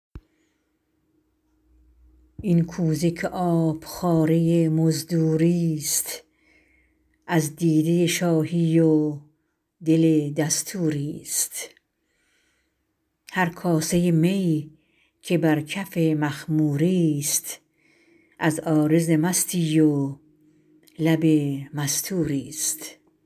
این کوزه که آبخواره مزدوری ست از دیده شاهی و دل دستوری ست هر کاسه می که بر کف مخموری ست از عارض مستی و لب مستوری ست